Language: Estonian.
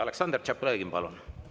Aleksandr Tšaplõgin, palun!